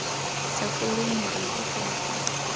sa foleng morago fela fa